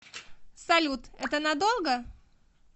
салют это надолго